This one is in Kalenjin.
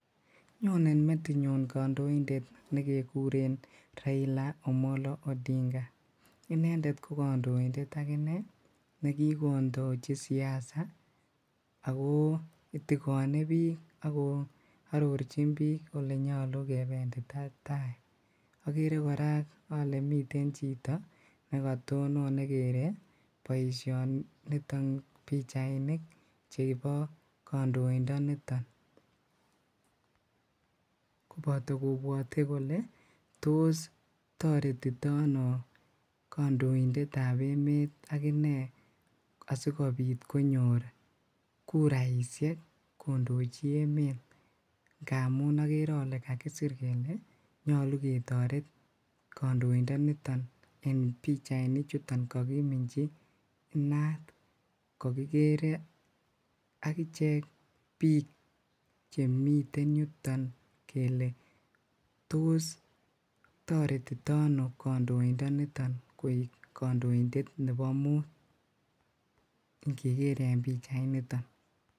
Nyone metinyun kondoitet nekekuren Raila Omolo Odinga, inendet ko kandoindet akinee ne kikondochi siasa ago itikone biik ago arorchin biik elenyolu kebendita taai, okere kora olee miten chito nekatonon nekeree boishoniton nibo pichainik chebo kondoindoniton koboto kobwote kole toos toretitono kondoitetab emet akine asikobit konyor kuraishek kondochi emet, ng'amun okeree olee kakisiir kelee nyoluu ketoret kondoindoniton en pichaini chuton kokiminchi inaat, kokikeree biik chemiten yuton kelee toos toretitono kondoindoniton koik kondoindet nebo muut ing'eker en pichainiton.